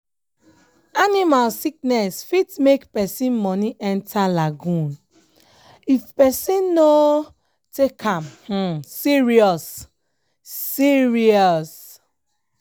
animal sickness fit make person money enter lagoon if person no um take am um serious. um serious. um